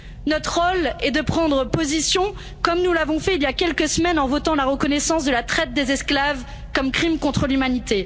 Notre rôle est de prendre position, comme nous l'avons fait il y a quelques semaines en votant la reconnaissance de la traite des esclaves comme crime contre l'humanité.